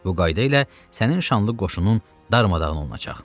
Bu qayda ilə sənin şanlı qoşunun darmadağın olunacaq.